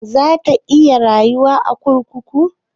Za ta iya rayuwa a kurkuku?